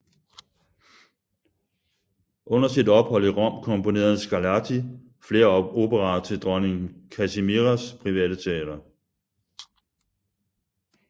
Under sit ophold i Rom komponerede Scarlatti flere operaer til dronning Kazimieras private teater